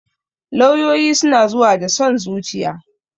Lauyoyi suna zuwa da son zuciya